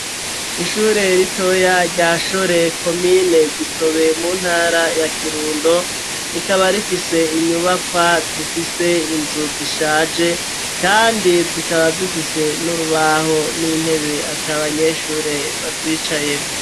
Ishure ritoya, rya Shore, komine Gitobe, mu ntara ya Kirundo; rikaba rifise inyubakwa, zifise inzu zishaje, kandi zikaba, zifise n'urubaho, n'intebe, ata banyeshure, bazicayemwo.